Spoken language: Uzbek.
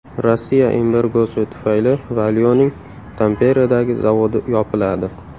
Rossiya embargosi tufayli Valio‘ning Tamperedagi zavodi yopiladi.